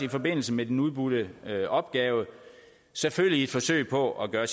i forbindelse med den udbudte opgave selvfølgelig i et forsøg på at gøre